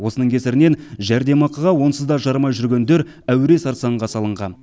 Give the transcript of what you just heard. осының кесірінен жәрдемақыға онсыз да жарымай жүргендер әуре сарсаңға салынған